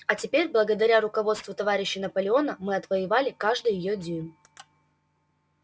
а теперь благодаря руководству товарища наполеона мы отвоевали каждый её дюйм